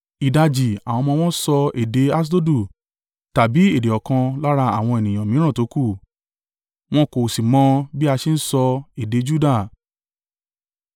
Ìdajì àwọn ọmọ wọn ń sọ èdè Aṣdodu tàbí èdè ọ̀kan lára àwọn ènìyàn mìíràn tókù, wọn kò sì mọ bí a ṣe ń sọ èdè Juda.